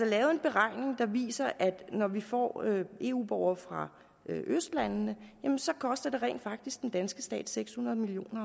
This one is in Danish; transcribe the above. lavet en beregning der viser at når vi får eu borgere fra østlandene jamen så koster det rent faktisk den danske stat seks hundrede million